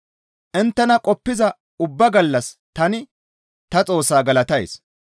Inttena qoppiza ubba gallas tani ta Xoossaa galatays.